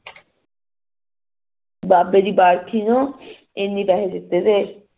ਬਾਬੇ ਦੀ ਬੈਠਕ ਨਾ ਇੰਨੇ ਪੈਸੇ ਦਿੱਤੇ ਨੇ